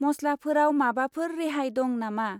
मसलाफोराव माबाफोर रेहाय दं नामा?